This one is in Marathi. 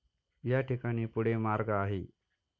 या ठिकाणी पुढे मार्ग आहे.